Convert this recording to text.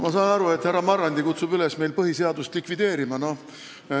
Ma saan aru, et härra Marrandi kutsub üles meil põhiseadust likvideerima.